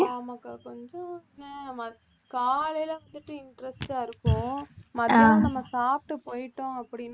ஆமாக்கா கொஞ்சம் காலையில வந்துட்டு interest ஆ இருக்கும் மத்தியானம் நம்ம சாப்பிட்டு போயிட்டோம் அப்படின்னா